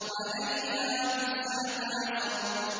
عَلَيْهَا تِسْعَةَ عَشَرَ